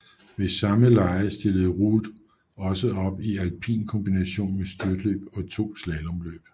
Ved samme lege stille Ruud også op i alpin kombination med styrtløb og to slalomløb